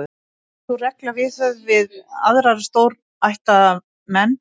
Yrði sú regla viðhöfð við aðra stórættaða menn,